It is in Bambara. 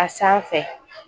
A sanfɛ